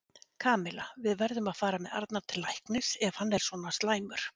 Kamilla, við verðum að fara með Arnar til læknis ef hann er svona slæmur.